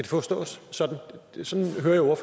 forstås sådan sådan hører